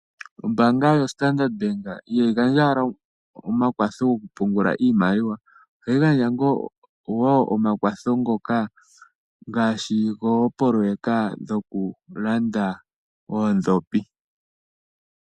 Ombaanga yoStandard Bank ihayi gandja owala omakwatho gokupungula iimaliwa. Ohayi gandja wo omakwatho ngoka ngaashi goopoloyeka dhokulanda oondhopi.